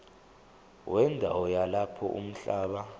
wendawo yalapho umhlaba